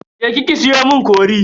Je ki ki siyo mun cori.